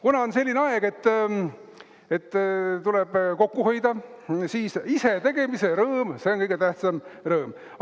Kuna on selline aeg, et tuleb kokku hoida, siis isetegemise rõõm, see on kõige tähtsam rõõm.